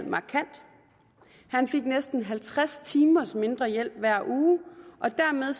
han fik næsten halvtreds timer mindre hjælp hver uge og dermed